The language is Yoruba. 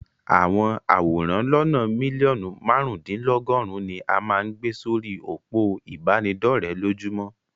Àwọn àwòrán lónàa mílíọ̀nù márùn-úndínlọgọ́rùn ni a máa ń gbe sí orí òpó ìbánidọ́rẹ̀ lójúmọ́.